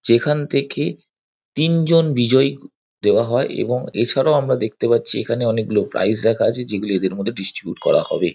যেখান থেকে তিনজন বিজয়ী দেওয়া হয় এবং এছাড়াও আমরা দেখতে পাচ্ছি এখানে অনেকগুলো প্রাইজ রাখা আছে যেগুলি এদের মধ্যে ডিস্ট্রিবিউট করা হবে।